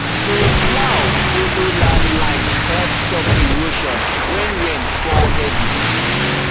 to plow follow land line help stop erosion when rain fall heavy